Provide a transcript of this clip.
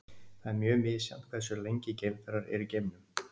það er mjög misjafnt hversu lengi geimfarar eru í geimnum